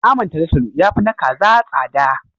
Naman talatalo ya fi na kaza tsada.